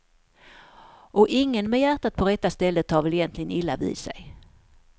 Och ingen med hjärtat på rätta stället tar väl egentligen illa vid sig.